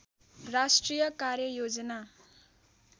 राष्ट्रिय कार्ययोजना